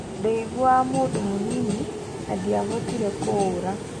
Ndeiguaga mũndũ mũnini, na ndìabotire kũũra.